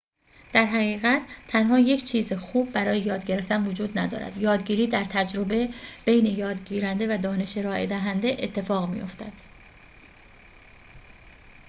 در حقیقت تنها یک چیز خوب برای یاد گرفتن وجود ندارد یادگیری در تجربه بین یادگیرنده و دانش ارائه شده اتفاق می‌دهد